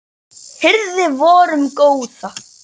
hirði vorum góða